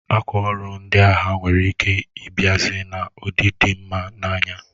Akwa ọrụ ndị agha nwere ike ịbiazi na ụdị dị mma n'anya